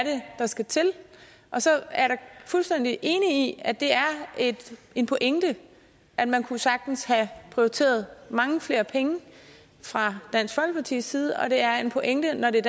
der skal til og så er jeg fuldstændig enig at det er en pointe at man sagtens kunne have prioriteret mange flere penge fra dansk folkepartis side og at det er en pointe når det er